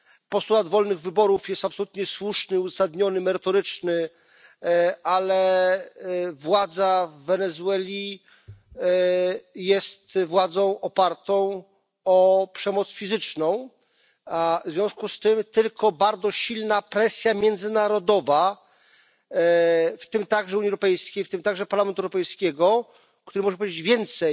Postulat wolnych wyborów jest absolutnie słuszny, uzasadniony i merytoryczny, ale władza w Wenezueli jest władzą opartą o przemoc fizyczną, w związku z tym tylko bardzo silna presja międzynarodowa, w tym także Unii Europejskiej, w tym także Parlamentu Europejskiego który może powiedzieć więcej